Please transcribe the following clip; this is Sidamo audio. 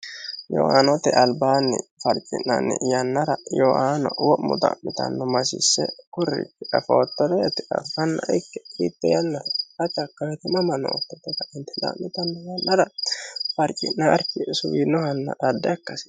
yoaanote albaanni farci'nanni yannara yoaano wo'mu daa'mitanno masiisse kurriki defoottoreeti affanna ikke iitte yannaho hacha akkamitimamanoottotota intedaa'mitanno yannara farci'naarki suwiinohanna adde akkasi